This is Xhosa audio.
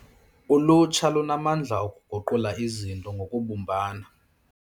Ulutsha lunamandla okuguqula izinto ngokubumbana.